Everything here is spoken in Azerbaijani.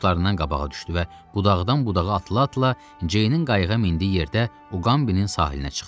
O dostlarından qabağa düşdü və budağdan budağa atıla-atıla Ceynin qayıqa mindiyi yerdə Uqambinin sahilinə çıxdı.